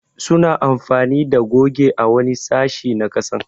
Su na amfani da goge a wani sashi na kasan.